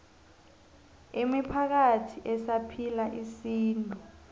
imiphakathi esaphila isintu